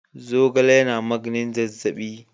Zogale yana maganin zazzaɓi.